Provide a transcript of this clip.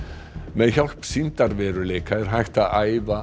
með hjálp sýndarveruleika er hægt að æfa